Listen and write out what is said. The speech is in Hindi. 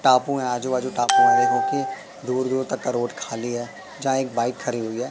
टापू हैं आजू बाजू टापू हैं देखो की दूर दूर तक का रोड खाली है जहां एक बाइक खड़ी हुई है।